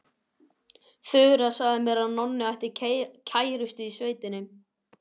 Þura sagði mér að Nonni ætti kærustu í sveitinni.